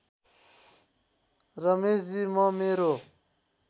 रमेशजी म मेरो